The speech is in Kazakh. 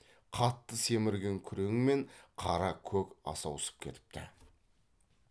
қатты семірген күрең мен қара көк асаусып кетіпті